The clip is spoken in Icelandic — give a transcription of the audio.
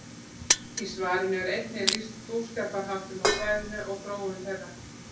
Í svarinu er einnig lýst búskaparháttum á svæðinu og þróun þeirra.